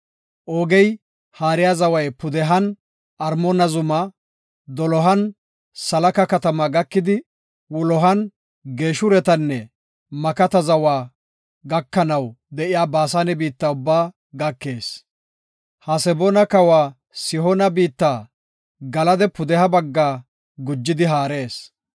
Oogey, haariya zaway pudehan Armoona zumaa, dolohan Salaka katamaa gakidi, wulohan Geeshuretanne Makata zawa gakanaw de7iya Baasane biitta ubbaa gakees. Haseboona kawa Sihoona biitta Galada pudeha baggaa gujidi haarees.